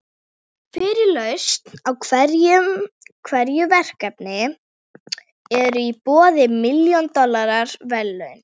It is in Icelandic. Fyrir lausn á hverju verkefni eru í boði milljón dollara verðlaun.